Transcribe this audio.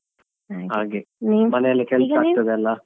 ಹ ಹಾಗೆ ಮನೆಯಲ್ಲೇ ಕೆಲಸ ಆಗ್ತದಲ್ಲಾ.